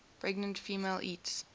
pregnant female eats